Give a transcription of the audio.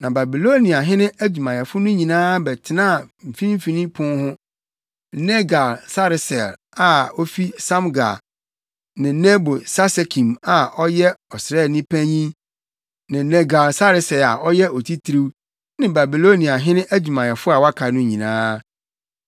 Na Babiloniahene adwumayɛfo no nyinaa bɛtenaa Mfimfini Pon hɔ: Nergal-Sareser a ofi Samgar ne Nebo-Sarsekim a ɔyɛ ɔsraani panyin ne Nergal-Sareser a ɔyɛ otitiriw, ne Babiloniahene adwumayɛfo a wɔaka no nyinaa.